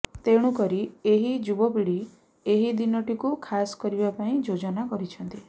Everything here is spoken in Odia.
ତେଣୁ କରି ଏହି ଯୁବପିଢି ଏହି ଦିନଟିକୁ ଖାସ କରିବା ପାଇଁ ଯୋଜନା କରିଛନ୍ତି